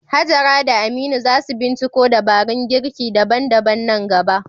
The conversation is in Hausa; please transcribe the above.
Hajara da Aminu za su binciko dabarun girki daban-daban nan gaba.